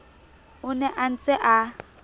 o ne a ntse a